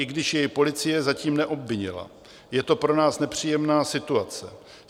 I když jej policie zatím neobvinila, je to pro nás nepříjemná situace.